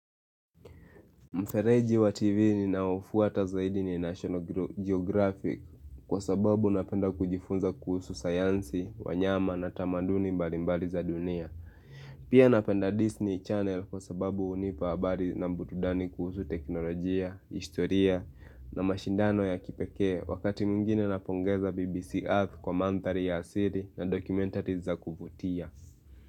Mfereji wa TV ni naofuata zaidi ni National Geographic kwa sababu napenda kujifunza kuhusu sayansi, wanyama na tamaduni mbalimbali za dunia. Pia napenda Disney Channel kwa sababu unipa habari na mburudani kuhusu teknolojia, historia na mashindano ya kipeke wakati mwingine napongeza BBC Earth kwa manthari ya asiri na dokumentari za kuvutia.